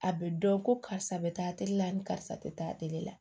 A bɛ dɔn ko karisa bɛ taa a terila ni karisa tɛ taa la